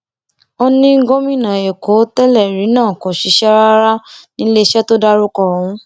ó ní gómìnà èkó tẹlẹrí náà kò ṣiṣẹ rárá níléeṣẹ tó dárúkọ ọhún